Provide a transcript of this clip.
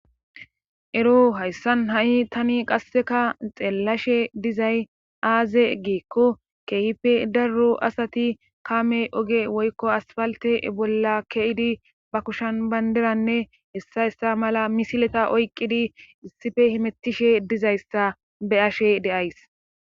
Ero hayssan ha7i tani qasseka xeellashe dizay aaze giikko keehippe daro asati kaame oge woykko aspaltte bolla ke7idi ba kushan banddiranne heta heta mala misileta oyqqidi issipe hemettishe dizayssa be7ashe de7ays.